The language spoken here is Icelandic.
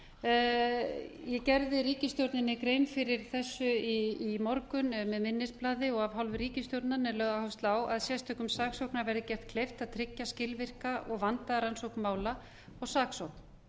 ég gerði ríkisstjórninni grein fyrir þessu í morgun eða með minnisblaði af hálfu ríkisstjórnarinnar er lögð áhersla á að sérstökum saksóknara verði gert kleift að tryggja skilvirka og vandaða rannsókn mála og saksókn